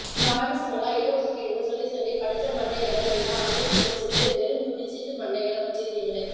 திராவிசங்களா இடஒதுக்கீடுன்னு சொல்லி சொல்லி படிச்ச மண்டைங்கள எல்லாம் அனுப்பி வச்சிட்டு வெறும் துண்டுசீட்டு மன்டைங்களை வச்சிருக்கீங்களே